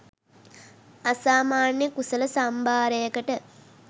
අසාමාන්‍ය කුසල සම්භාරයකට